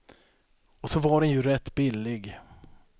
Och så var den ju rätt billig.